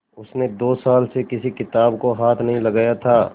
उसने दो साल से किसी किताब को हाथ नहीं लगाया था